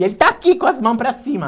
E ele está aqui com as mãos para cima.